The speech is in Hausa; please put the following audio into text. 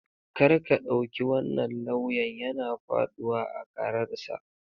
KArka ɗauki wannan lawyan yana faɗuwa a kararsa.